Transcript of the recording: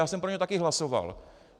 Já jsem pro něj také hlasoval.